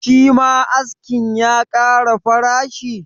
Shima askin ya kara farashi?